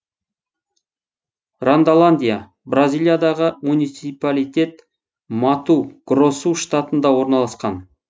рондоландия бразилиядағы муниципалитет мату гросу штатында орналасқан